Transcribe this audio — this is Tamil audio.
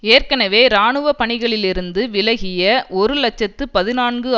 ஏற்கெனவே இராணுவப்பணிகளிலிருந்து விலகிய ஒரு இலட்சத்து பதினான்கு